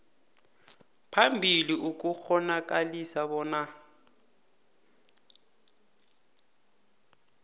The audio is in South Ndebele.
phambili ukukghonakalisa bona